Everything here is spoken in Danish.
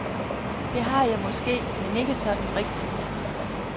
Det har jeg måske, men ikke sådan rigtigt.